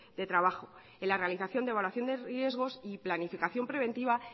de trabajo en la realización de evaluación de riesgos y planificación preventiva